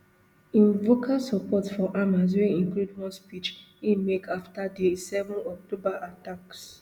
im vocal support for hamas wey include one speech e make afta di seven october attacks